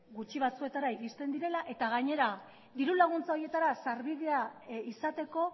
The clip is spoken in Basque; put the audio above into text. gutxi batzuetara iristen direla eta gainera diru laguntza horietara sarbidea izateko